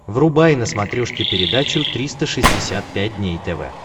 врубай на смотрешке передачу триста шестьдесят пять дней тв